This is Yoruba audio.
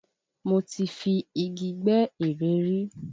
Mo ti fi Igi gbẹ́ eré rí.